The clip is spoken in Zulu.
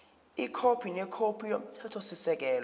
ikhophi nekhophi yomthethosisekelo